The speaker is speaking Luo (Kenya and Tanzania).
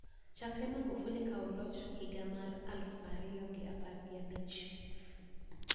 Chakre Magufuli kaw loch higa mar aluf ariyo gi apar gi abich